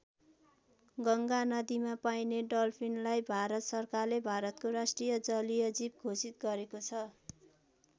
गङ्गा नदीमा पाइने डल्फिनलाई भारत सरकारले भारतको राष्ट्रिय जलीय जीव घोषित गरेको छ।